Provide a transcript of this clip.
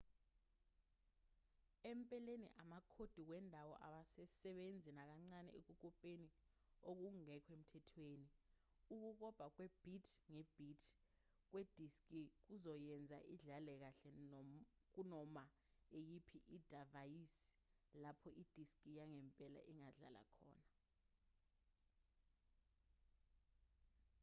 empeleni amakhodi wendawo awasebenzi nakancane ekukopeni okungekho emthethweni ukukopa kwe-bit nge-bit kwediski kuzoyenza idlale kahle kunoma iyiphi idivayisi lapho idiski yangempela ingadlala khona